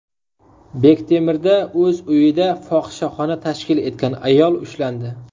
Bektemirda o‘z uyida fohishaxona tashkil etgan ayol ushlandi.